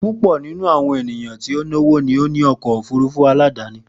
Pupọ ninu awọn eniyan to lọwọ ni awọn ọkọ ofurufu aladani.